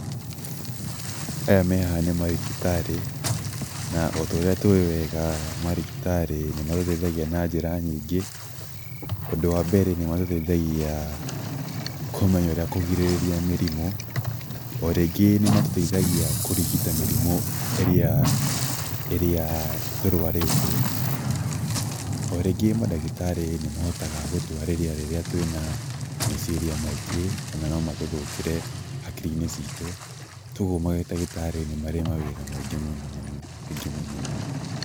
Aya me haha nĩ marigitarĩ, na o ta ũrĩa tũĩ wega marigitarĩ nĩ matũteithagia na njĩra nyingĩ. Ũndũ wa mbere nĩ matũteithagia kũmenya ũrĩa kũgirĩrĩria mĩrimũ, o rĩngĩ nĩ matũteithagia kũrigita mĩrimũ ĩrĩa tũrwarĩte, o rĩngĩ mandagitarĩ nĩ mahotaga gũtwarĩria rĩrĩa twĩna meciria maingĩ na no matũthũkĩre hakiri-inĩ citũ, tũguo marigitarĩ nĩ mawĩra maingĩ mũno mũno.